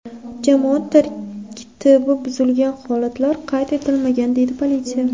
Jamoat tartibi buzilgan holatlar qayd etilmagan”, deydi politsiya.